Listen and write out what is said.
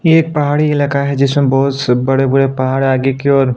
ये एक पहाड़ी इलाका है जिसमे बहौत बड़े-बड़े पहाड़ आगे की और --